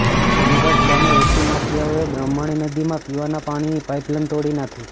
માનગઢ ગામે રેતી માફિયાઓએ બ્રાહ્મણી નદીમાં પીવાના પાણીની પાઇપલાઇન તોડી નાખી